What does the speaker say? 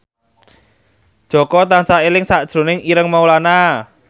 Jaka tansah eling sakjroning Ireng Maulana